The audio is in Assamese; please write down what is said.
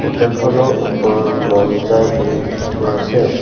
হোটেলখনৰ ওপৰত মন যায় বুলি লিখি থোৱা আছে।